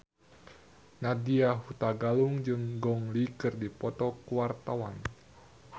Nadya Hutagalung jeung Gong Li keur dipoto ku wartawan